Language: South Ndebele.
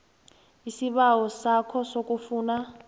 isibawo sakho sokufuna